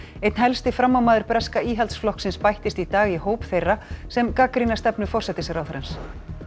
einn helsti framámaður breska Íhaldsflokksins bættist í dag í hóp þeirra sem gagnrýna stefnu forsætisráðherrans